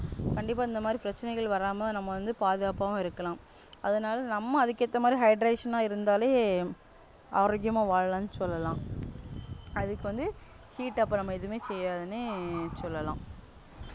கண்டிப்பா இந்தமாதிரி பிரச்சனைகள் வராம நம்ம வந்து பாதுகாப்பாவும் இருக்கலாம் அதனால நம்ம அதுக்கேத்த மாதிரி hydration ஆ இருந்தாலே ஆரோக்கியமா வாழலாம்னு சொல்லலாம் அதுக்கு வந்து heat அப்பறம் எதுவுமே செய்யாதுன்னு சொல்லலாம்